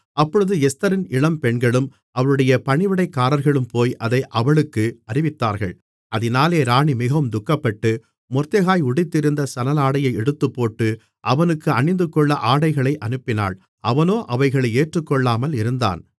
அப்பொழுது எஸ்தரின் இளம்பெண்களும் அவளுடைய பணிவிடைக்காரர்களும் போய் அதை அவளுக்கு அறிவித்தார்கள் அதினாலே ராணி மிகவும் துக்கப்பட்டு மொர்தெகாய் உடுத்தியிருந்த சணலாடையை எடுத்துப்போட்டு அவனுக்கு அணிந்துகொள்ள ஆடைகளை அனுப்பினாள் அவனோ அவைகளை ஏற்றுக்கொள்ளாமல் இருந்தான்